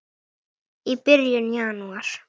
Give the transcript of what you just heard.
í byrjun janúar.